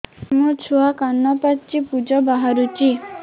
ମୋ ଛୁଆ କାନ ପାଚି ପୂଜ ବାହାରୁଚି